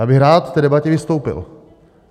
Já bych rád v té debatě vystoupil.